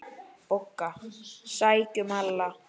BOGGA: Sækjum Lalla!